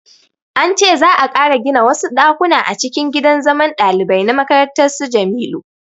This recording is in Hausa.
An ce za'a ƙara gina wasu ɗakuna a cikin gidan zaman ɗalibai na makarantar su Jamilu